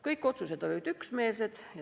Kõik otsused olid üksmeelsed.